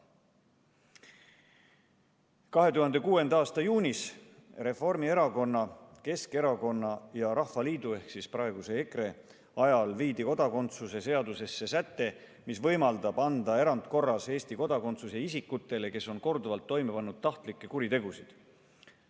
2006. aasta juunis viidi Reformierakonna, Keskerakonna ja Rahvaliidu ehk praeguse EKRE valitsuse ajal kodakondsuse seadusesse säte, mis võimaldab anda erandkorras Eesti kodakondsuse ka isikutele, kes on korduvalt toime pannud tahtlikke kuritegusid.